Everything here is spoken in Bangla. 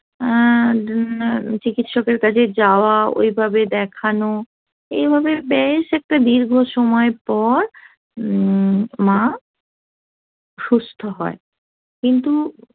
অ্যা চিকিৎসকের কাজে যাওয়া ওইভাবে দেখানো এভাবে বেশ একটা দীর্ঘ সময় পর যে মা সুস্থ হয় কিন্তু